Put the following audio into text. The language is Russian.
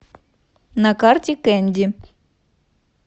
на карте кэнди